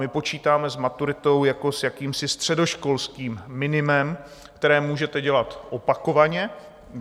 My počítáme s maturitou jako s jakýmsi středoškolským minimem, které můžete dělat opakovaně.